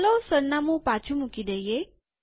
ચાલો સરનામું પાછુ મૂકી દઈએ